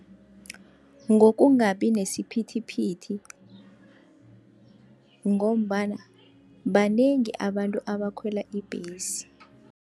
Ngokungabi nesiphithiphithi, ngombana banengi abantu abakhwela ibhesi.